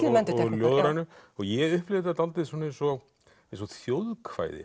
ljóðrænu ég upplifi þetta dálítið eins og eins og